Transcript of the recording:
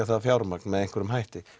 það fjármagn með einhverjum hætti